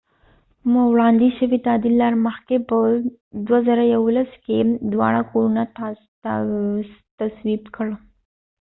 وړاندیز شوی تعدیل لا د مخکې په ۲۰۱۱ کې دواړه کورونه تصویب کړ